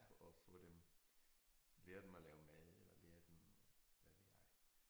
At få dem lære dem at lave mad eller lære dem hvad ved jeg